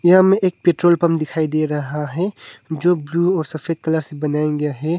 यहां हमें एक पेट्रोल दिखाई दे रहा है जो ब्लू और सफेद कलर से बनाया गया है।